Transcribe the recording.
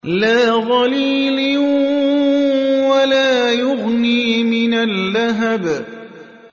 لَّا ظَلِيلٍ وَلَا يُغْنِي مِنَ اللَّهَبِ